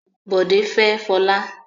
Bòdé fẹ́ Fọlá.